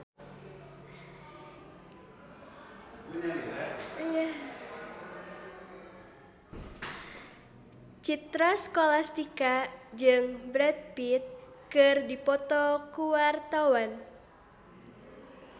Citra Scholastika jeung Brad Pitt keur dipoto ku wartawan